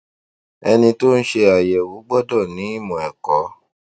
ẹni tó ń ṣe àyẹwò gbọdọ ni ìmò ẹkọ